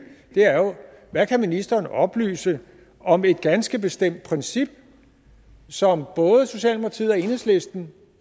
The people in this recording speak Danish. hvad kan ministeren oplyse om et ganske bestemt princip som både socialdemokratiet og enhedslisten